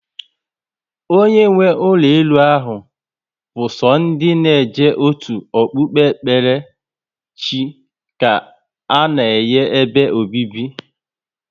Onye nwe ụlọ elu ahụ bu so ndị na eje otu Okpụkpere chị ka ana-enye ebe obibi